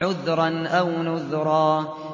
عُذْرًا أَوْ نُذْرًا